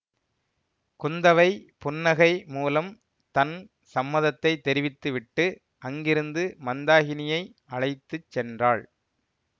குந்தவை புன்னகை மூலம் தன் சம்மதத்தைத் தெரிவித்துவிட்டு அங்கிருந்து மந்தாகினியை அழைத்து சென்றாள்